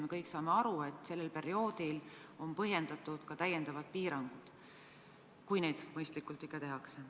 Me kõik saame aru, et sellel perioodil on põhjendatud ka täiendavate piirangute kehtestamine, kui neid ikka mõistlikult tehakse.